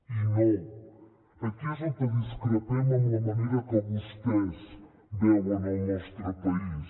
i no aquí és on discrepem amb la manera que vostès veuen el nostre país